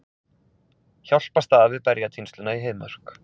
Hjálpast að við berjatínsluna í Heiðmörk